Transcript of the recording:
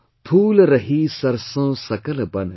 Phool rahi sarson sakal ban